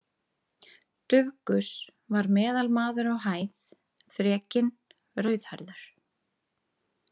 Dufgus var meðalmaður á hæð, þrekinn, rauðhærður.